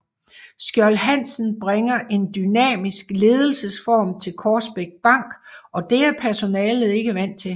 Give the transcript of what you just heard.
Skjold Hansen bringer en dynamisk ledelsesform til Korsbæk Bank og det er personalet ikke er vant til